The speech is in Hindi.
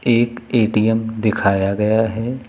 एक ए_टी_एम दिखाया गया है।